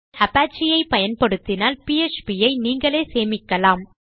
நீங்கள் அபச்சே ஐ பயன்படுத்தினால் பிஎச்பி ஐ நீங்களே சேமிக்கலாம்